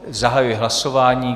Zahajuji hlasování.